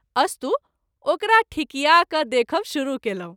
अस्तु ओकरा ठिकिया क’ देखब शुरू केलहुँ।